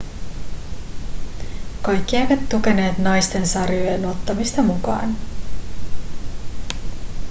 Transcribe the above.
kaikki eivät tukeneet naisten sarjojen ottamista mukaan